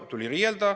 Tuli riielda.